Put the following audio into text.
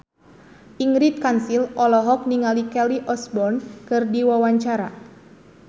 Ingrid Kansil olohok ningali Kelly Osbourne keur diwawancara